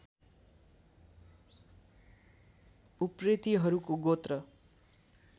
उप्रेतीहरूको गोत्र